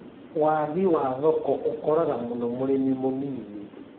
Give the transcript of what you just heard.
Waagi wa thoko ũkoraga mũno mũrimi mũnini